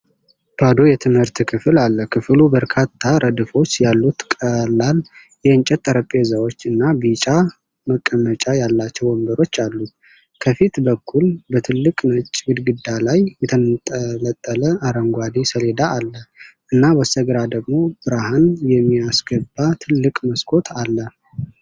ባዶ የትምህርት ክፍልን አለ። ክፍሉ በርካታ ረድፎች ያሉት ቀላል የእንጨት ጠረጴዛዎች እና ቢጫ መቀመጫ ያላቸው ወንበሮች አሉት። ከፊት በኩል በትልቅ ነጭ ግድግዳ ላይ የተንጠለጠለ አረንጓዴ ሰሌዳ አለ፣ እና በስተግራ ደግሞ ብርሃን የሚያስገባ ትልቅ መስኮት አለ።